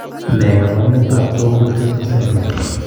Ne kaabarunetap Torg Winchester syndrome?